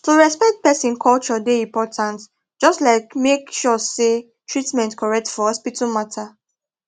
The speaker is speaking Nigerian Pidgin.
to respect person culture dey important just like make sure say treatment correct for hospital matter